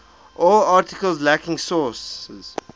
all articles lacking sources